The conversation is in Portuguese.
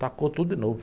Tacou tudo de novo.